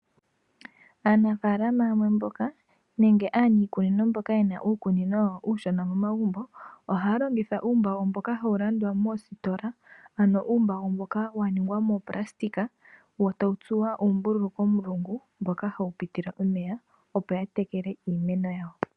Aanafaalama yamwe mboka, nenge aniikunino mboka yena uukunino wawo uushona mo magumbo, ohaya longitha uumbago mboka hawu landwa moositola, ano uumbago mboka wa ningwa moopulasitika wo tawu tsuwa uumbululu komulungu, mpoka hapu pitile omeya, opo ya tekele iimeno yawo.